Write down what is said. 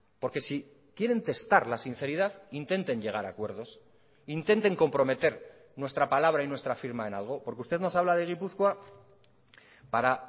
porque si quieren testar la sinceridad intenten llegar a acuerdos intenten comprometer nuestra palabra y nuestra firma en algo porque usted nos habla de gipuzkoa para